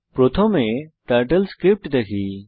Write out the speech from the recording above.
প্রথমে টার্টেলস্ক্রিপ্ট দেখি